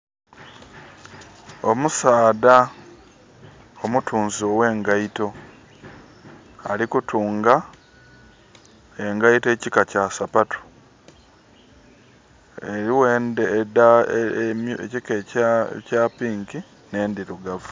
Omusaadha omutunzi owengaito alikutunga engaito ekika kya sapatu. Waliwo ekika kya pink ne ndirugavu